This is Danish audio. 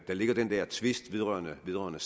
der ligger den der tvist vedrørende vedrørende